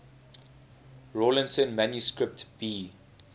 rawlinson manuscript b